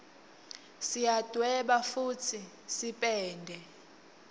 siyadweba futsi sipende